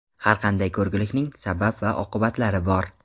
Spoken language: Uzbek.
Har qanday ko‘rgilikning sabab va oqibatlari bor.